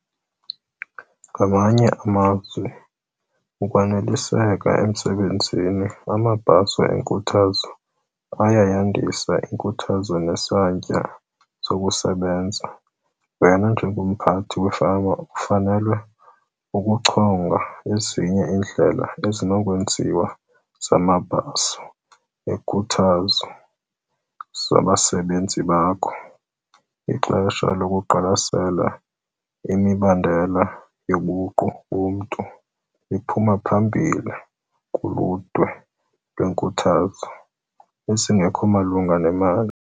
Ngamanye amazwi, ukwaneliseka emsebenzini amabhaso enkuthazo ayayandisa inkuthazo nesantya sokusebenza. Wena njengomphathi wefama ufanele ukuchonga ezinye iindlela ezinokwenziwa zamabhaso enkuthazo zabasebenzi bakho. Ixesha lokuqwalasela imibandela yobuqu bomntu liphuma phambili kuludwe lweenkuthazo ezingekho malunga nemali.